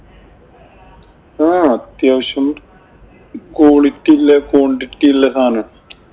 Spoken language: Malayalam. ആഹ് അത്യാവശ്യം quality ഇല്ലെ, quantity ഇല്ലെ സാധനമാ.